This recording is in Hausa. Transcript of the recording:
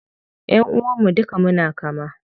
Ƴanʼuwan mu duka muna kama.